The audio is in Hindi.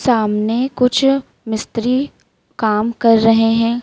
सामने कुछ मिस्त्री काम कर रहे है।